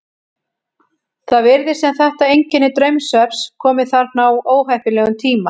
Það virðist sem þetta einkenni draumsvefns komi þarna á óheppilegum tíma.